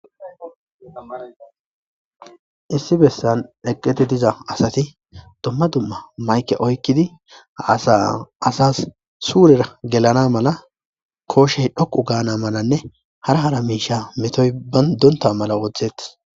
issi bessan eqidi diza asati domma dumma mayke oykkidi ha asaa asas suurera gelana mala kooshey dhoqu gaana malanne hara hara miisha metoy banta mala wooththettes